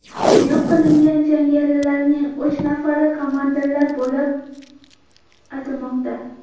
Yo‘q qilingan jangarilarning uch nafari komandirlar bo‘lgani aytilmoqda.